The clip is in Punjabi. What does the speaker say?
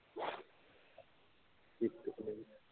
ਕੀਤਾ ਕਿ ਨਹੀਂ